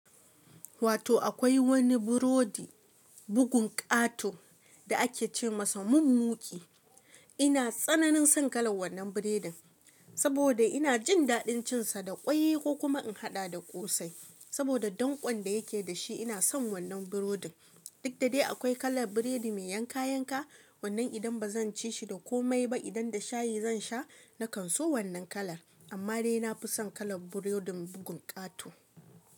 Wato akwai wani burodi bugun ƙato da ake ce masa mun muki. Ina tsananin son kalar wannan biredin, saboda ina jin daɗin cinsa da ƙwai ko kuma in haɗa da ƙosai. Saboda dankon da yake dashi ina son wannan burodin. Duk da dai akwai kalar biredi mai yanka-yanka wannan idan ba zan ci shi da komai ba idan da shayi zan sha na kan so wannan kalar. Amma dai na fi son kalar burodin bugun ƙato.